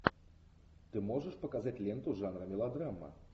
ты можешь показать ленту жанра мелодрама